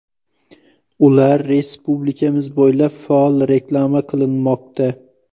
Ular respublikamiz bo‘ylab faol reklama qilinmoqda.